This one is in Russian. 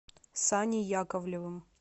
саней яковлевым